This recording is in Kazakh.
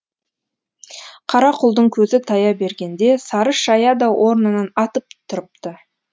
қарақұлдың көзі тая бергенде сары шая да орнынан атып тұрыпты